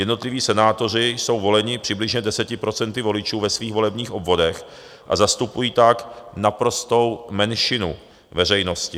Jednotliví senátoři jsou voleni přibližně 10 % voličů ve svých volebních obvodech a zastupují tak naprostou menšinu veřejnosti.